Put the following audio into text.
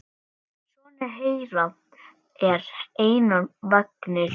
Sonur þeirra er Einar Vignir.